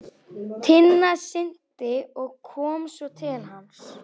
Tinna synti og kom svo til hans.